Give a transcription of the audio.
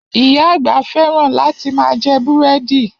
Iya àgbà fẹ́ràn láti ma jẹ́ búrẹ́dì